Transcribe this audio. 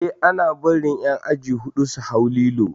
Eh ana bari ƴan aji huɗu su hau lilo